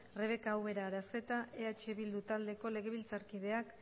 rebeka ubera aranzeta eh bildu taldeko legebiltzarkideak